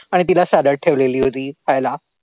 आणि तिला salad ठेवलेली होती खायला.